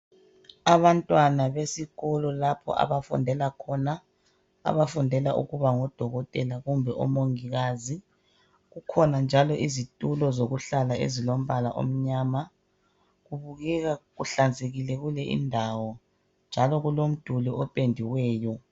abantwana besikolo lapho abafundela khona abafundela ukuba ngodokotela kumbe omongikazi kukhona njalo izitulo zokuhlala ezilombala omnyama kubukeka kuhlanzekile kule indawo njalo kulomduli opendiweyo